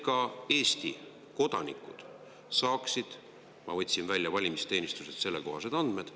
Ma võtsin valimisteenistusest juba välja sellekohased andmed.